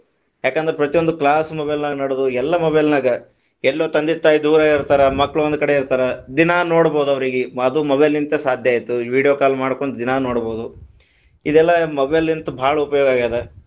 ಯಾಕಂದ್ರ ಪ್ರತಿ ಒಂದು class mobile ನಾಗ ನಡದ್ವ ಎಲ್ಲಾ mobile ನಾಗ, ಎಲ್ಲೊ ತಂದಿ ತಾಯಿ ದೂರ ಇರ್ತರ ಮಕ್ಕಳ ಒಂದ ಕಡೆ ಇರ್ತಾರ ದಿನಾ ನೊಡಬಹುದು ಅವ್ರಿಗೆ, ಅದು mobile ಯಿಂದ ಸಾಧ್ಯ ಆಯಿತು, video call ಮಾಡ್ಕೊಂತ ದಿನಾ ನೋಡಬಹುದು, ಇದೆಲ್ಲಾ mobile ತ ಬಾಳ ಉಪಯೋಗ ಆಗೇದ.